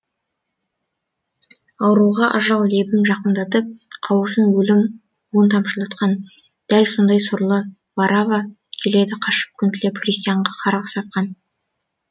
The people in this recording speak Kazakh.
ауруға ажал лебім жақындатып қауырсын өлім уын тамшылатқан дәл сондай сорлы варавва келеді қашып күн тілеп христианға қарғыс атқан